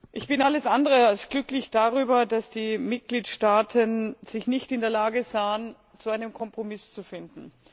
Ich bin alles andere als glücklich darüber, dass sich die Mitgliedstaaten nicht in der Lage sahen, zu einem Kompromiss zu finden.